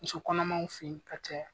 Muso kɔnɔmanw fe yen ka caya.